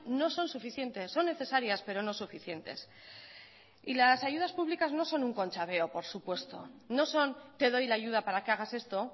no son suficientes son necesarias pero no suficientes y las ayudas públicas no son un conchaveo por supuesto no son te doy la ayuda para que hagas esto